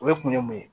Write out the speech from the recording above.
O ye kun ye mun ye